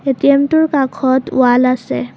ATM টোৰ কাষত wall আছে।